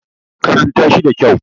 karanta shi da kyau!